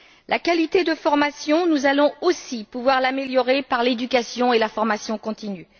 La qualité de la formation, nous allons aussi pouvoir l'améliorer par l'éducation et la formation continue.